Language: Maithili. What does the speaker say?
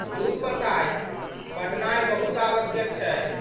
दुर बताहि! पढ़नाइ बहुत आवश्यक छै।